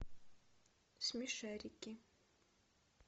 смешарики